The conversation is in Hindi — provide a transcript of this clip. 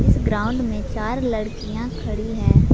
इस ग्राउंड में चार लड़कियां खड़ी है।